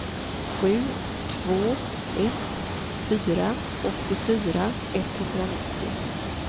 sju två ett fyra åttiofyra etthundranittio